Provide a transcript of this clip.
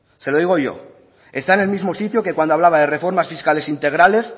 se lo digo yo está en el mismo sitio que cuando hablaba de reformas fiscales integrales